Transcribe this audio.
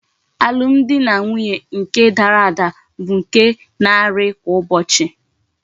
Alum di na nwunye nke dara ada bu nke na ari kwa ụbọchị.